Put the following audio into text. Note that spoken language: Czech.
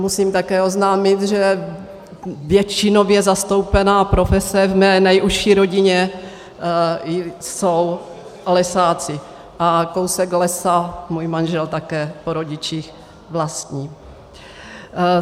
Musím také oznámit, že většinově zastoupená profese v mé nejužší rodině jsou lesáci a kousek lesa můj manžel také po rodičích vlastní.